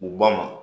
U ba ma